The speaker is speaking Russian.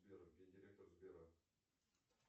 сбер где директор сбера